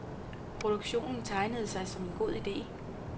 Produktionen tegnede sig som en god ide.